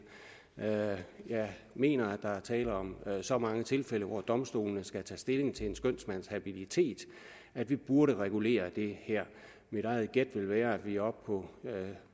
jeg mener at der er tale om så mange tilfælde hvor domstolene skal tage stilling til en skønsmands habilitet at vi burde regulere det her mit eget gæt vil være at vi oppe på